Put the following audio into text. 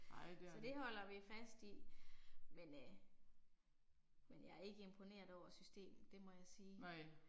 Så det holder vi fast i. Men øh. Men jeg er ikke imponeret over systemet, det må jeg sige